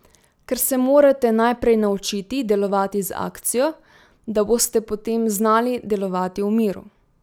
Ker se morate najprej naučiti delovati z akcijo, da boste potem znali delovati v miru.